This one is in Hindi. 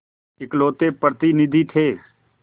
इकलौते प्रतिनिधि थे